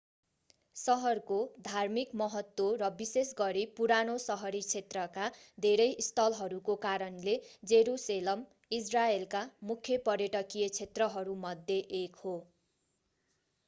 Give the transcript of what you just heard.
सहरको धार्मिक महत्त्व र विशेष गरी पुरानो सहरी क्षेत्रका धेरै स्थलहरूको कारणले जेरुसेलम इजरायलका मुख्य पर्यटकीय क्षेत्रहरूमध्ये एक हो